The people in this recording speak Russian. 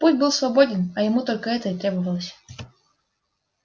путь был свободен а ему только это и требовалось